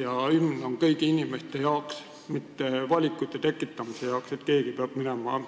Ja hümn on kõigi inimeste jaoks, mitte selliste valikute tekitamise jaoks, et keegi peab minema